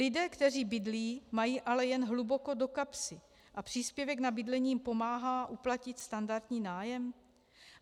Lidé, kteří bydlí, mají ale jen hluboko do kapsy a příspěvek na bydlení jim pomáhá zaplatit standardní nájem?